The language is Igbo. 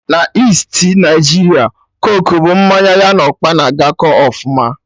Na Isti Naijiria coke bụ mmanya ya na ọkpa na agakọ ọfụma